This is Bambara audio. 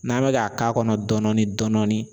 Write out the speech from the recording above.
N'an bɛ k'a k'a kɔnɔ dɔɔnin dɔɔnin.